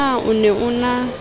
na o ne o na